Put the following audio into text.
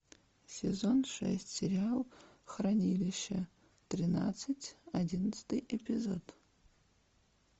сезон шесть сериал хранилище тринадцать одиннадцатый эпизод